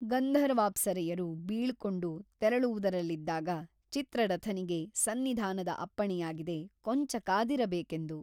ಗಂಧರ್ವಾಪ್ಸರೆಯರು ಬೀಳ್ಕೊಂಡು ತೆರಳುವುದರಲ್ಲಿದ್ದಾಗ ಚಿತ್ರರಥನಿಗೆ ಸನ್ನಿಧಾನದ ಅಪ್ಪಣೆಯಾಗಿದೆ ಕೊಂಚ ಕಾದಿರಬೇಕೆಂದು.